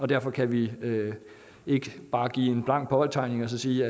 derfor kan vi ikke bare give en blank påtegning og så sige